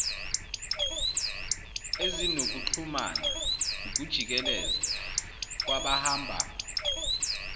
ezinokuxhumana ukujikeleza kwabahamba